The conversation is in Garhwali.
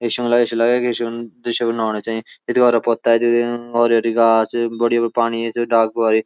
इसुमा ऐसा लगो के कि दृश्य कु बनौण तें हमारा पत्ता च और रिंगाल च बडयू पाणी ऐच डाल पर इ।